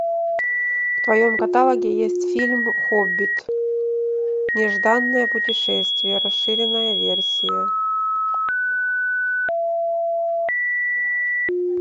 в твоем каталоге есть фильм хоббит нежданное путешествие расширенная версия